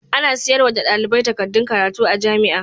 Ana siyarwa da ɗalibai takaddun karatu a jamia